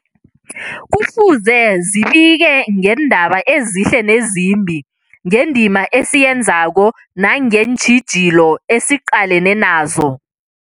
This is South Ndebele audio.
Kufuze zibike ngeendaba ezihle nezimbi, ngendima esiyenzako nangeentjhijilo esiqalene nazo.